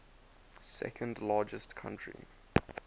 second largest country